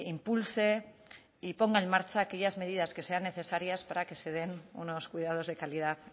impulse y ponga en marcha aquellas medidas que sean necesarias para que se den unos cuidados de calidad